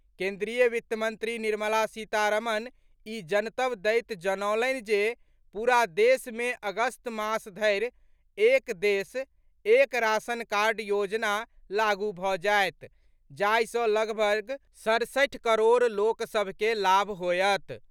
केंद्रीय वित्त मंत्री निर्मला सीतारमण ई जनतब दैत जनौलनि जे पूरा देश मे अगस्त मास धरि एक देश, एक राशनकार्ड योजना लागू भऽ जायत जाहि सँ लगभग सड़सठि करोड़ लोक सभ के लाभ होयत।